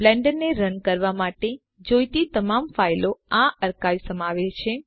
બ્લેન્ડરને run કરવાં માટે જોઈતી તમામ ફાઈલો આ અર્કાઇવ સમાવે છે